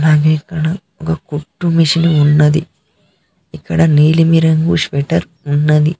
ఆమె అక్కడ ఒక కుట్టు మెషిన్ ఉన్నది ఇక్కడ నీలిమ రంగు స్వేటర్ ఉన్నది.